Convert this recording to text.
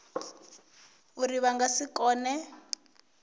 uri vha nga si kone